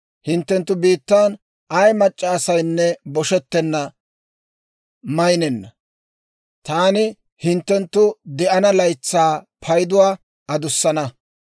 Hinttenttu biittaan ay mac'c'a asaynne boshetenna; maynenna. Taani hinttenttu de'ana laytsaa payduwaa adussana.